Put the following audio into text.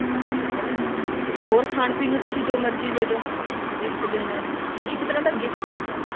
ਹਨਾ ਤੇ ਹੋਰ ਖਾਣ ਪੀਣ ਨੂੰ ਤੁਸੀਂ ਜੋ ਮਰਜ਼ੀ ਦੇਦੋ gift ਦੇਣਾ ਇਹ ਇੱਕ ਤਰ੍ਹਾਂ ਦਾ gift ਹੋ ਜਾਂਦਾ